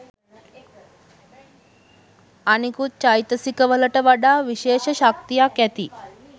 අනිකුත් චෛතසිකවලට වඩා විශේෂ ශක්තියක් ඇති